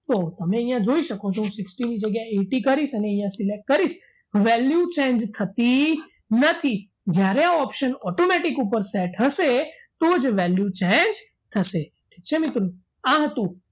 તો તમે અહીંયા જોઈ શકો છો હું sixty ની જગ્યાએ eighty કરીશ અને અહીંયા select કરીશ value change થતી નથી જ્યારે આ option automatic ઉપર set હશે તો જ value change થશે ઠીક છે મિત્રો આ હતું